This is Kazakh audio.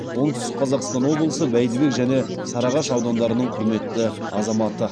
оңтүстік қазақстан облысы бәйдібек және сарыағаш аудандарының құрметті азаматы